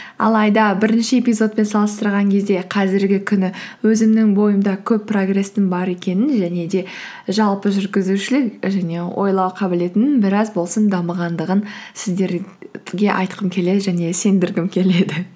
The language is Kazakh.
алайда бірінші эпизодпен салыстырған кезде қазіргі күні өзімнің бойымда көп прогресстің бар екенін және де жалпы жүргізушілік және ойлау қабілетімнің біраз болсын дамығандығын сіздерге айтқым келеді және сендіргім келеді